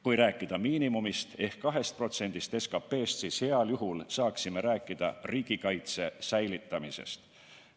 Kui rääkida miinimumist ehk 2%-st SKT-st, siis heal juhul saaksime rääkida riigikaitse säilitamisest.